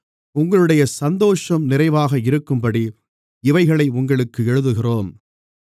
உங்களுடைய சந்தோஷம் நிறைவாக இருக்கும்படி இவைகளை உங்களுக்கு எழுதுகிறோம்